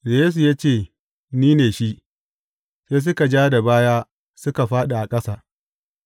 Da Yesu ya ce, Ni ne shi, sai suka ja da baya suka fāɗi a ƙasa.